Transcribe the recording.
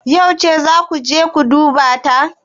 Yauce zaa kuje duba ta?